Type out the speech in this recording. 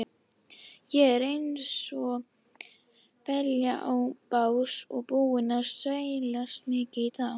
Ég er einsog belja á bás og búinn að sveiflast mikið í dag.